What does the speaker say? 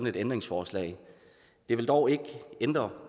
et ændringsforslag det vil dog ikke ændre